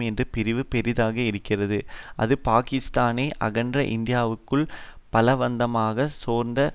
என்ற பிரிவு பெரிதாக இருக்கிறது அது பாக்கிஸ்தானை அகன்ற இந்தியாவுக்குள் பலவந்தமாகச் சேர்க்க